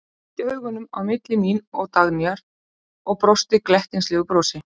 Renndi augunum á milli mín og Dagnýjar og brosti glettnislegu brosi.